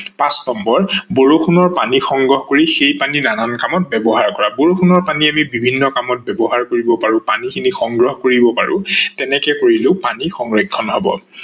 পাচ নম্বৰ বৰষুনৰ পানী সংগ্ৰহ কৰি সেই পানী নানান কামত ব্যৱহাৰ কৰা, বৰষুনৰ পানী আমি বিভিন্ন কামত ব্যৱহাৰ কৰিব পাৰো, পানী খিনি সংগ্ৰহ কৰিব পাৰো তেনেকে কৰিলেও পানী সংৰক্ষন হব।